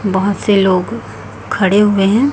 बहुत से लोग खड़े हुए हैं।